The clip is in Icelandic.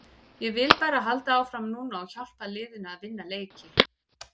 Ég vil bara halda áfram núna og hjálpa liðinu að vinna leiki.